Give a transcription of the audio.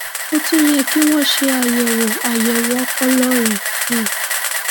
ó tún yẹ kí wọn ṣe àyẹwò àyẹwò ọpọlọ rẹ um